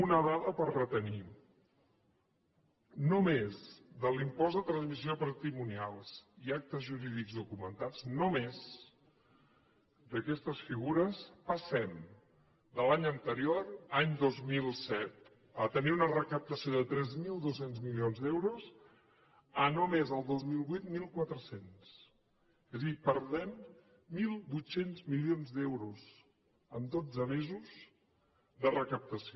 una dada per retenir només de l’impost de transmissions patrimonials i d’actes jurídics documentats només d’aquestes figures passem de l’any anterior any dos mil set a tenir una recaptació de tres mil dos cents milions d’euros a només el dos mil vuit mil quatre cents és a dir perdem mil vuit cents milions d’euros en dotze mesos de recaptació